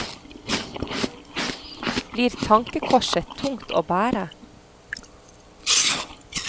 Blir tankekorset tungt å bære?